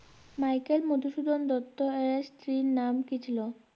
Michael Madhusudan দত্তের স্ত্রীর নাম কী ছিল?